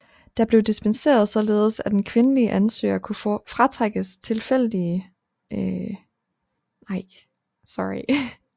Der blev dispenseret således at en kvindelig ansøgere kunne foretrækkes i tilfælde af lige kvalifikationer i øvrigt